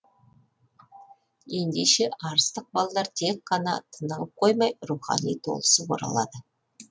ендеше арыстық балалар тек қана тынығып қоймай рухани толысып оралады